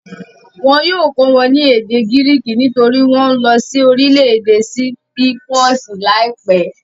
Wọn yóò kọ́ wọn ní èdè gíríkì nítorí wọ́n ń lọ sí orílẹ̀-èdè sípípọ̀sì láìpẹ́.